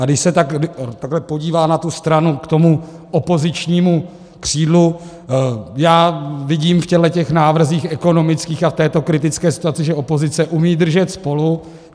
A když se takhle podívá na tu stranu k tomu opozičnímu křídlu, já vidím v těchto návrzích ekonomických a v této kritické situaci, že opozice umí držet spolu.